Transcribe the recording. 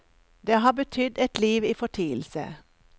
Det har betydd et liv i fortielse.